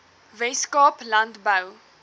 wes kaap landbou